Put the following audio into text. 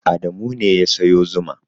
Adamu ne ya sayo zuma.